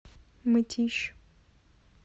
мытищ